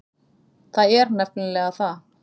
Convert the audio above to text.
Það er nefnilega það.